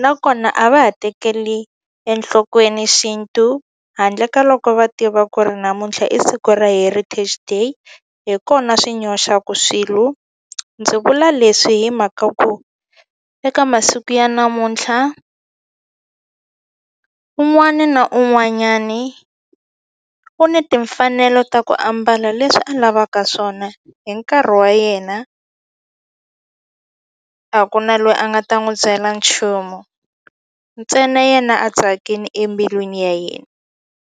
nakona a va ha tekeli enhlokweni xintu handle ka loko va tiva ku ri namuntlha i siku ra heritage day hi kona swi nyoxaku swilo ndzi vula leswi hi mhaka ku eka masiku ya namuntlha un'wani na un'wanyani u ni timfanelo ta ku ambala leswi a lavaka swona hi nkarhi wa yena a ku na loyi a nga ta n'wu byela nchumu ntsena yena a tsakini embilwini ya yena.